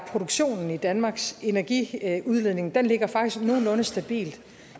produktionen i danmarks energiudledning ligger nogenlunde stabilt